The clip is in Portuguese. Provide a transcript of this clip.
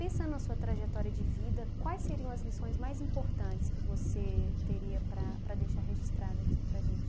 Pensando na sua trajetória de vida, quais seriam as lições mais importantes que você teria para para deixar registrada aqui para a gente?